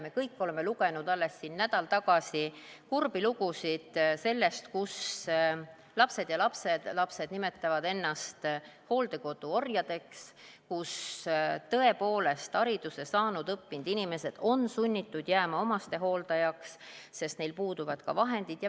Me kõik lugesime alles nädal tagasi kurbi lugusid sellest, kuidas lapsed ja lapselapsed nimetavad ennast hooldekodu orjadeks, kus tõepoolest hariduse saanud, õppinud inimesed on sunnitud jääma omastehooldajaks, sest neil puuduvad vahendid.